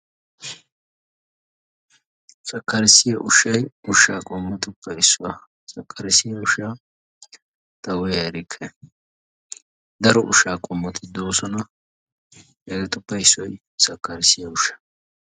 Sakarissiyaa ushshay ushshaa qoommotuppe issuwaa. Sakarissiyaa ushshaa ta uya erikke. Daro ushshaa qoomoti doosona. Hegeetuppe issoy sakarissiyaa ushshaa.